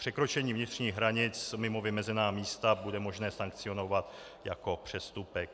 Překročení vnitřních hranic mimo vymezená místa bude možné sankcionovat jako přestupek.